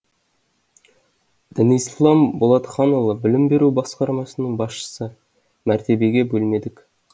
дінислам болатханұлы білім беру басқармасының басшысы мәртебеге бөлмедік